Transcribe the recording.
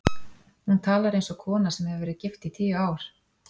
Hún talar eins og kona sem hefur verið gift í tíu ár.